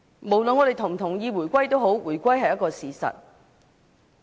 無論我們是否同意回歸，它都早已成為事實。